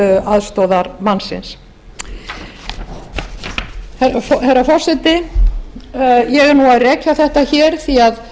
aðstoðarmannsins herra forseti ég er nú að rekja þetta hér því að